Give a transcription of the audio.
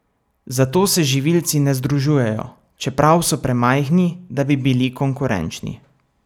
Zato se živilci ne združujejo, čeprav so premajhni, da bi bili konkurenčni.